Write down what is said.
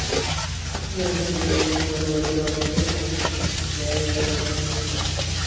здравствуйте меня зовут джон смит я есть джон смит